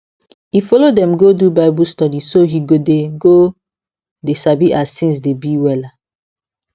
e follow dem go do bible study so he go dey go dey sabi as things dey be wella